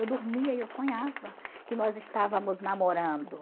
Eu dormia e eu sonhava que nós estávamos namorando.